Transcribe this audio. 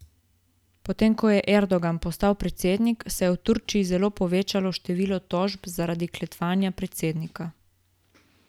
Potem ko je Erdogan postal predsednik, se je v Turčiji zelo povečalo število tožb zaradi klevetanja predsednika.